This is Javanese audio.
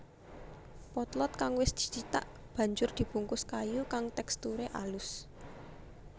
Potlot kang wis dicithak banjur dibungkus kayu kang teksturé alus